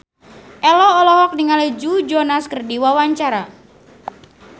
Ello olohok ningali Joe Jonas keur diwawancara